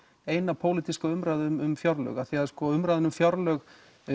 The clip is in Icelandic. eina pólitíska umræðu um fjárlög af því að umræðan um fjárlög